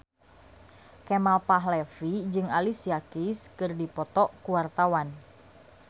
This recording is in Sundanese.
Kemal Palevi jeung Alicia Keys keur dipoto ku wartawan